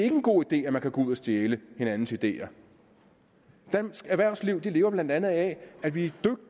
en god idé at man kan gå ud og stjæle hinandens ideer dansk erhvervsliv lever blandt andet af at vi